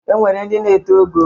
E nwere ndị na-eto ogo.